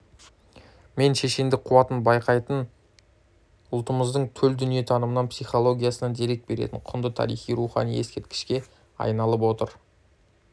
мен шешендік қуатын байқататын ұлтымыздың төл дүниетанымынан психологиясынан дерек беретін құнды тарихи-рухани ескерткішке айналып отыр